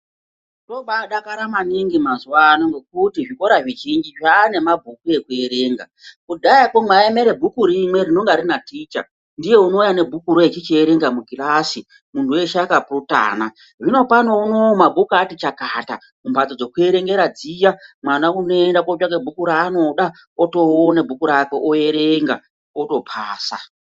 Tobaadakara maningi mazuwaano ngekuti zvikora zvizhinji zvaanemabhuku ekuerenga, kudhaya kwo maiemera bhuku rimwe rinonga rina ticha ndiye unouya nebhukuro echichierenga mukirasi munhu weshe akapurutana, zvinopano unowu mabhuku ati chakata mumhatso dzekuerengera dziya mwana unoenda kootsvaka bhuku raanoda otoona bhuku rakwe oerenga topasa.